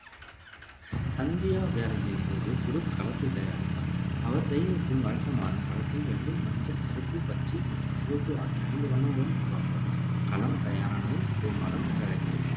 சந்தியாவேளையின் போது குருப் களத்தைத் தயாரிப்பார். அவர் தெய்வத்தின் வழக்கமான படத்தை வெள்ளை, மஞ்சள், கருப்பு, பச்சை மற்றும் சிவப்பு ஆகிய ஐந்து வண்ணங்களுடன் உருவாக்குவார். களம் தயாரானதும் கொமாரம் என்றழைக்கப்படுபவர்